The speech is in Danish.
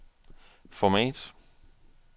format